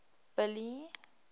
billy